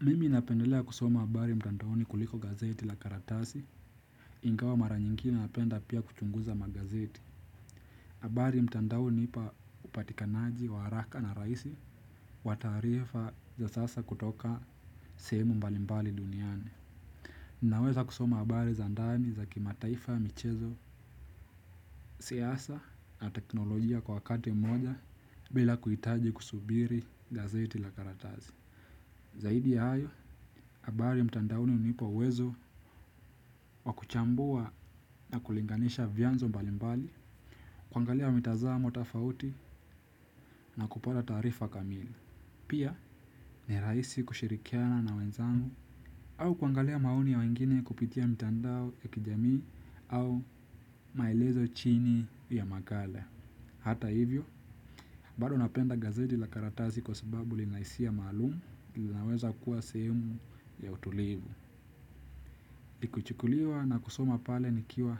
Mimi napendelea kusoma habari mtandaoni kuliko gazeti la karatasi. Ingawa mara nyingi napenda pia kuchunguza magazeti habari mtandaoni hunipa upatikanaji wa haraka na rahisi. Wataarifa za sasa kutoka sehemu mbali mbali duniani. Ninaweza kusoma habari za ndani za kimataifa michezo. Siasa na teknolojia kwa wakati moja bila kuhitaji kusubiri gazeti la karatasi. Zaidi ya hayo, habari mtandaoni hunipa uwezo wakuchambua na kulinganisha vyanzo mbalimbali, kuangalia mitazamo tofauti na kupata taarifa kamili. Pia, ni rahisi kushirikiana na wenzangu, au kuangalia maoni ya wengine kupitia mitandao ya kijamii au maelezo chini ya makala. Hata hivyo, bado napenda gazeti la karatasi kwa sababu linahisia malumu, linaweza kuwa sehemu ya utulivu. Likachukuliwa na kusoma pale nikiwa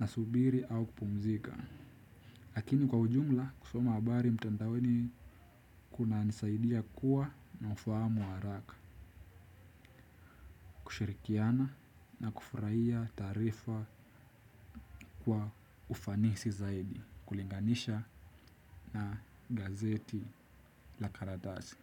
nasubiri au kupumzika. Lakini kwa ujumla kusoma habari mtandaoni kunanisaidia kuwa na ufahamu haraka. Kushirikiana na kufurahia taarifa kwa ufanisi zaidi. Kulinganisha na gazeti la karatasi.